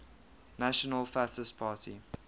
national fascist party